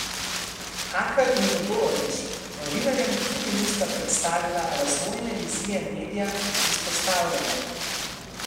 Hakl in Todorović novinarjem tudi nista predstavila razvojne vizije medija, izpostavljajo.